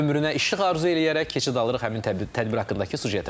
Biz də ömrünə işıq arzu eləyərək keçid alırıq həmin tədbir haqqındakı süjetə.